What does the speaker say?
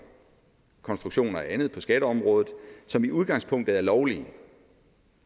konstruktioner og andet på skatteområdet som i udgangspunktet er lovlige